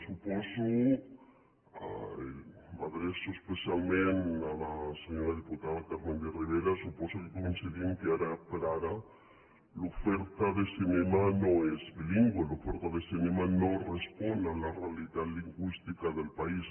suposo i m’adreço especialment a la senyora diputada carmen de rivera que coincidim que ara per ara l’oferta de cinema no és bilingüe l’oferta de cinema no respon a la realitat lingüística del país